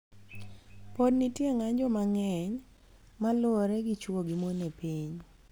Podi nitie ng�anjo mang�eny ma luwore gi chwo gi mon e piny,